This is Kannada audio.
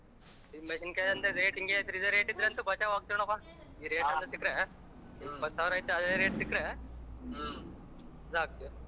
ಇದ್ ಮೆಣಸಿನಕಾಯಿ ಅಂತೂ rate ಇಂಗೆ ಇದೆ rate ಇದರಂತು ಬಚಾವ್ ಆಗತಿವ ನೋಡಾಪ್ಪ ಈ rate ಏನಾದರೂ ಸಿಕ್ರೆ ಇಪ್ಪತಸಾವಿರ ಐತೆ ಅದೇ rate ಸಿಕ್ರೆ ಸಾಕು.